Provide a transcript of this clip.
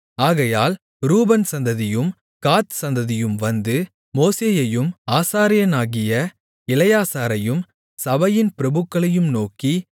ஆகையால் ரூபன் சந்ததியும் காத் சந்ததியும் வந்து மோசேயையும் ஆசாரியனாகிய எலெயாசாரையும் சபையின் பிரபுக்களையும் நோக்கி